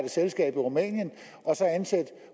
selskab i rumænien og så ansætte